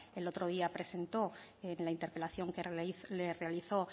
el otro día presentó en la interpelación que le realizó